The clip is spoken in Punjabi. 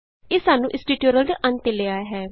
ਇਹ ਸਾਨੂੰ ਇਸ ਟਿਯੂਟੋਰਿਅਲ ਦੇ ਅੰਤ ਤੇ ਲੈ ਆਇਆ ਹੈ